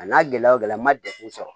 A n'a gɛlɛya o gɛlɛya n ma degun sɔrɔ